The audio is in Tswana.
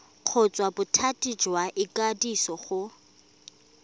kgotsa bothati jwa ikwadiso go